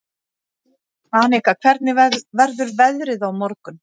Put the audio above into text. Arnika, hvernig verður veðrið á morgun?